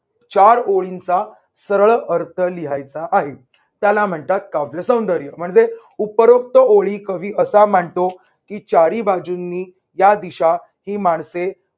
चार ओळींचा सरळ अर्थ लिहायचा आहे. त्याला म्हणतात काव्य सौंदर्य. म्हणजे उपरोक्त ओळी कवी असा मांडतो की चारी बाजूंनी या दिशा ही माणसे